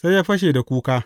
Sai ya fashe da kuka.